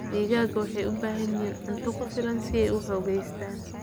Digaagga waxay u baahan yihiin cunto ku filan si ay u xoogaystaan.